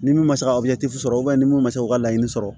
Ni min ma se ka sɔrɔ ni mun ma se k'o ka layini sɔrɔ